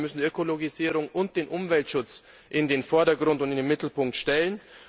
Das heißt, wir müssen Ökologisierung und den Umweltschutz in den Vordergrund und in den Mittelpunkt stellen.